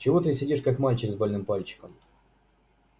чего ты сидишь как мальчик с больным пальчиком